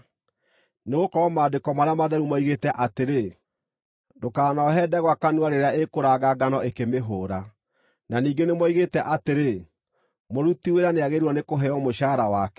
Nĩgũkorwo Maandĩko marĩa matheru moigĩte atĩrĩ, “Ndũkanohe ndegwa kanua rĩrĩa ĩkũranga ngano ĩkĩmĩhũũra,” na ningĩ nĩmoigĩte atĩrĩ, “Mũruti wĩra nĩagĩrĩirwo nĩkũheo mũcaara wake.”